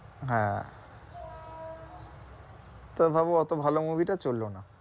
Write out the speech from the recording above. হ্যাঁ তো ভাবো অত ভালো movie টা চললো না,